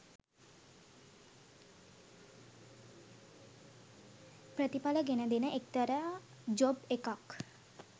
ප්‍රතිපල ගෙන දෙන එක්තර ජොබ් එකක්.